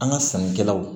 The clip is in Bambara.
An ka sannikɛlaw